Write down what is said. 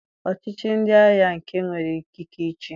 Ọchịchị ndị agha bụ nke nwere ikike ịchị.